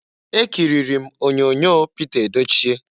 Ekiriri m onyoonyo Pịta Edochie.